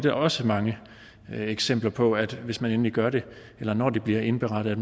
er også mange eksempler på at det hvis man endelig gør det eller når det bliver indberettet